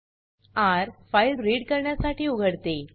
र - file read करण्यासाठी उघडते